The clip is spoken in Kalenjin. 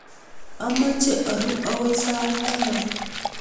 Amache aru akoy sait taman